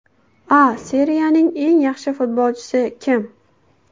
A Seriyaning eng yaxshi futbolchisi kim?